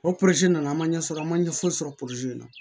O nana an ma ɲɛ sɔrɔ an man ɲɛ foyi sɔrɔ na